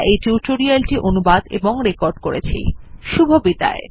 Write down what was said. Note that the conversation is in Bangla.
এই টিউটোরিয়াল এ অংশগ্রহন করার জন্য ধন্যবাদ